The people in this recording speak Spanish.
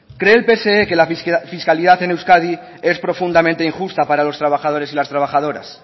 cree el pse que la fiscalidad en euskadi es profundamente injusta para los trabajadores y las trabajadoras